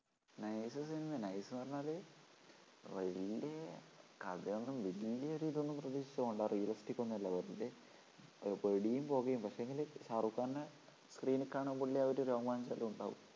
nice സിനിമയാ nice ന്ന് പറഞ്ഞാല് വല്യ കഥയൊന്നും ﻿ വല്യ ഒരു ഇതൊന്നും പ്രതീക്ഷിച്ചു പോണ്ടാ realistic ഒന്നുമല്ല വെറുതേ വെടീം പൊകേം പക്ഷേങ്കില് ഷാരൂഖ് ഖാനെ screen ൽ കാണുമ്പോഴുള്ള ഒരു രോമാഞ്ചം അതുണ്ടാവും.